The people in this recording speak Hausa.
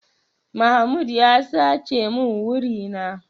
Mahmoud ya sace min wuri na.